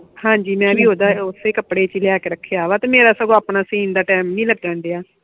ਹਾਂਜੀ ਮੈਂ ਓਦਾਂ ਓਸੇ ਕੱਪੜੇ ਲੈਕੇ ਰੱਖਿਆ ਤੇ ਮੇਰਾ ਸਗੋਂ ਆਪਣਾ ਸੀਨ ਦਾ ਟਾਈਮ ਨਹੀਂ ਲੱਗਣ ਦਿਆ